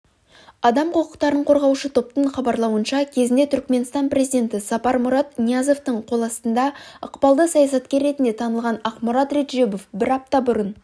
адам құқықтарын қорғаушы топтың хабаралуынша кезінде түркіменстан президенті сапармұрат ниязовтың қол астында ықпалды саясаткер ретінде танылған ақмұрат реджебов бір апта бұрын